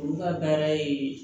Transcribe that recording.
Olu ka baara ye